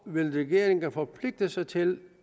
vil regeringen forpligte sig til